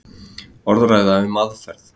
Orðræða um aðferð.